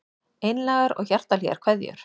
Einlægar og hjartahlýjar kveðjur